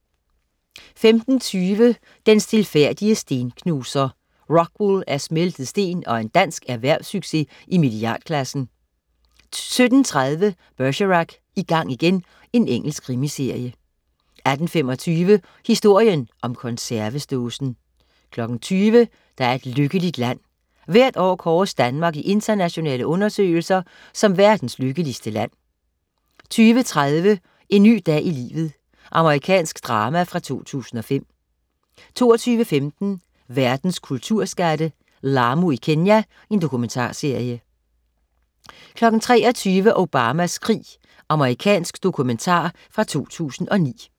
15.20 Den stilfærdige stenknuser. Rockwool er smeltet sten og en dansk erhvervssucces i milliardklassen 17.30 Bergerac: I gang igen. Engelsk krimiserie 18.25 Historien om konservesdåsen 20.00 Der er et lykkeligt land. Hvert år kåres Danmark i internationale undersøgelser som verdens lykkeligste land 20.30 En ny dag i livet. Amerikansk drama fra 2005 22.15 Verdens kulturskatte. "Lamu i Kenya". Dokumentarserie 23.00 Obamas krig. Amerikansk dokumentar fra 2009